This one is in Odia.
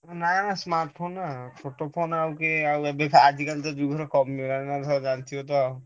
ନା ନା smart phone ନା ଆଉ ଛୋଟ phone ଆଉ କିଏ ଆଉ ଆଜି କାଲି କା ଯୁଗରେ କମିଗଲାଣି ତମେ ସବୁ ଜାଣିଥିବ ତ ଆଉ।